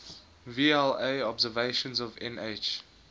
vla observations of nh